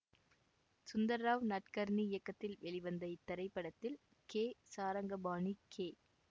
சுந்தர் ராவ் நட்கர்னி இயக்கத்தில் வெளிவந்த இத்திரைப்படத்தில் கே சாரங்கபாணி கே